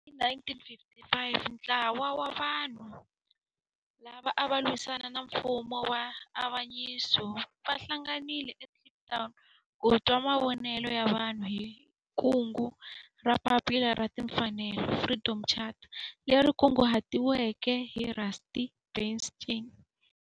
Hi 1955 ntlawa wa vanhu lava ava lwisana na nfumo wa avanyiso va hlanganile eKliptown ku twa mavonelo ya vanhu hi kungu ra Papila ra Tinfanelo, Freedom Charter leri kunguhatiweke hi Rusty Bernstein.